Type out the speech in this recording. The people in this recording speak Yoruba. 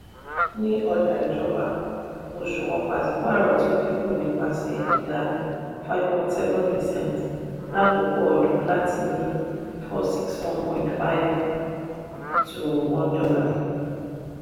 ní ọjà ìjọba òṣùwọ̀n pàṣípààrọ̀ tún dínkù nípasẹ̀ ìdá ( percent) five point seven lákòókò ọdún láti tìí ní n four hundred sixty one point five /$ one.